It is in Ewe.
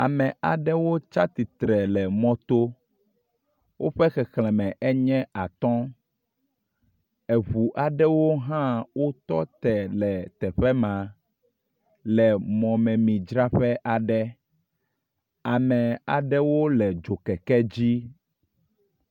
Ame aɖewo tsi atsitre le mɔto. Woƒe xexleme enye atɔ̃. Eŋu aɖewo hã wotɔ te le teƒe ma le mɔmemidzraƒe aɖe. Ame aɖewo le dzokeke dzi.